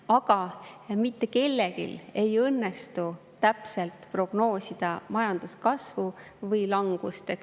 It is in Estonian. Aga mitte kellelgi ei õnnestu täpselt prognoosida majanduse kasvu või langust.